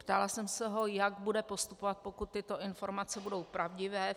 Ptala jsem se ho, jak bude postupovat, pokud tyto informace budou pravdivé.